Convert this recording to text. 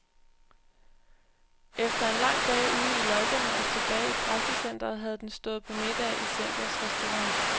Efter en lang dag ude i løjperne og tilbage i pressecentret havde den stået på middag i centrets restaurant.